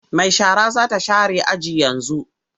Mai shara za ta share aji yanzu.